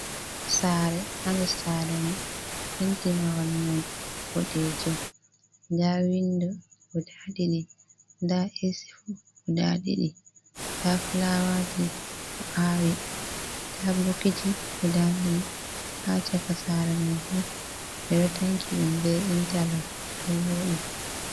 Sare hander sare mai penti mahol mai boɗejum nda wind guda ɗiɗi nda esi fu guda ɗiɗi nda fulawaji ɓeɗo awi nda bokiji guda ɗiɗi ha chaka sare man fu bido tanki ɗum be intaloks ɗo voɗi.